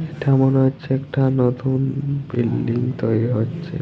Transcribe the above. ইটা মনে হচ্ছে একটা নতুন বিল্ডিং তৈরি হচ্ছে।